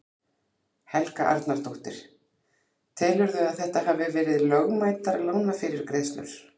Helga Arnardóttir: Telurðu að þetta hafi verið lögmætar lánafyrirgreiðslur?